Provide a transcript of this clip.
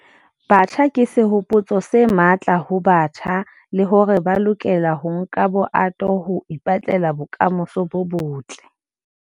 Batjha ke sehopotso se matla ho batjha le hore ba lokela ho nka bohato ho ipetlela bokamoso bo botle.